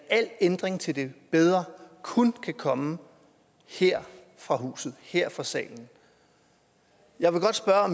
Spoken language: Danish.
al ændring til det bedre kun kan komme her fra huset her fra salen jeg vil godt spørge